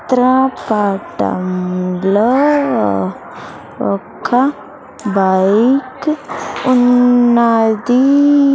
చిత్ర పటం లో ఒక్క బైక్ ఉన్నది.